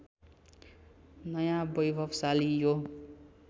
नयाँ वैभवशाली यो